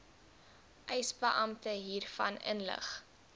eisebeampte hiervan inlig